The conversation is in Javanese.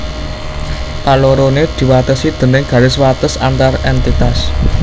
Kaloroné diwatesi déning garis wates antar èntitas